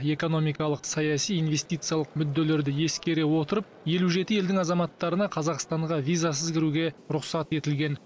экономикалық саяси инвестициялық мүдделерді ескере отырып елу жеті елдің азаматтарына қазақстанға визасыз кіруге рұқсат етілген